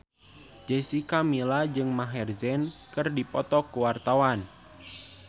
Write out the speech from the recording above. Jessica Milla jeung Maher Zein keur dipoto ku wartawan